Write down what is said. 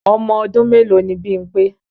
Ọmọdún mélòó ni Bímpé?